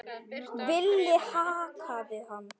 Villi kallaði hann.